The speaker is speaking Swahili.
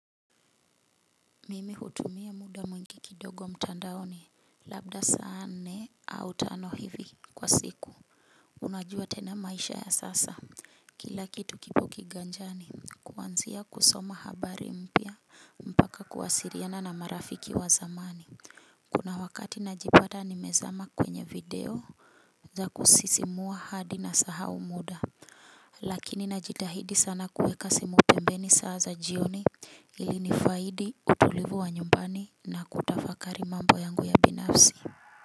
Mimi hutumia muda mwingi kidogo mtandaoni labda saa nne au tano hivi kwa siku. Unajua tena maisha ya sasa kila kitu kipo kiganjani kuanzia kusoma habari mpya mpaka kuwasiliana na marafiki wa zamani. Kuna wakati najipata nimezama kwenye video za kusisimua hadi na sahau muda lakini najitahidi sana kuweka simu pembeni saa za jioni ili nifaidi utulivu wa nyumbani na kutafakari mambo yangu ya binafsi.